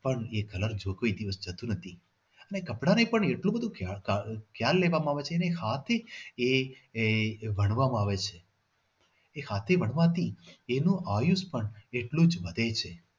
પણ એ colour કોઈ દિવસ જતું નથી. અને કપડા ને પણ એટલું બધું ખ્યાલ લેવામાં આવે છે જાતે આહ એ વણવા માં આવે છે એ હાથે વણવાથી એનો આયુષ પણ એટલું જ વધે છે.